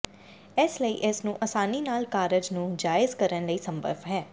ਇਸ ਲਈ ਇਸ ਨੂੰ ਆਸਾਨੀ ਨਾਲ ਕਾਰਜ ਨੂੰ ਜਾਇਜ਼ ਕਰਨ ਲਈ ਸੰਭਵ ਹੈ